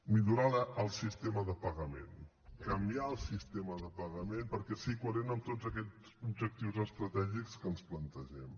millorar el sistema de pagament canviar el sistema de pagament perquè sigui coherent amb tots aquests objectius estratègics que ens plantegem